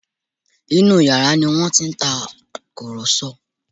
Inú yàrá ni wọ́n ti ń tàkùrọ̀sọ